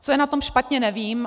Co je na tom špatně, nevím.